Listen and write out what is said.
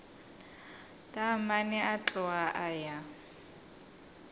taamane a tloga a ya